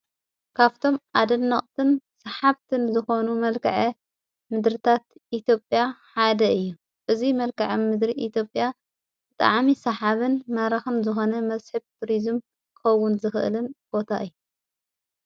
ካብቶም ኣደኖቕትን ሰሓብትን ዝኾኑ መልከዐ ምድርታት ኢቲጴያ ሓደ እየ እዙይ መልከዐ ምድሪ ኢቲብያ ጥዓሚ ሰሓብን መራኽን ዝኾነ መስሕብ ቱርዝም ከውን ዝኽእልን ቦታ እዩ።